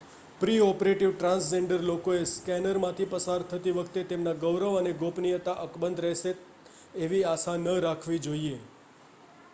pre-operative transgender લોકોએ સ્કૅનરમાંથી પસાર થતી વખતે તેમના ગૌરવ અને ગોપનીયતા અકબંધ રહેશે એવી આશા ન રાખવી જોઈએ